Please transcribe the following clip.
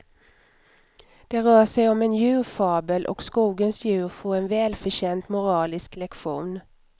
Det rör sig om en djurfabel och skogens djur får en välförtjänt moralisk lektion.